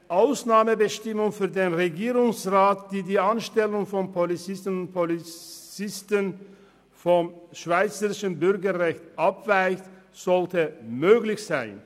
Eine Ausnahmebestimmung für den Regierungsrat für die Anstellung von Polizistinnen und Polizisten ohne Schweizer Bürgerrecht sollte möglich sein.